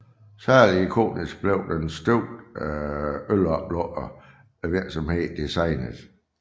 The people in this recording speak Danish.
Særlig ikonisk blev den støbte øloplukker virksomheden designede